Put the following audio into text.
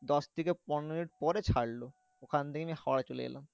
দশ থেকে পনেরো মিনিট পরে ছাড়লো ওখান থেকেই হাওড়া চলে এলাম।